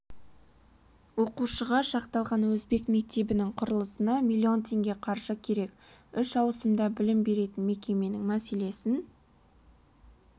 оқушыға шақталқан өзбек мектебінің құрылысына миллион теңге қаржы керек үш ауысымда білім беретін мекеменің мәселесін